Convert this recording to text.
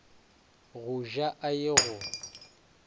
go ja a ye go